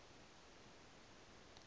ha tshoṱhe u tea u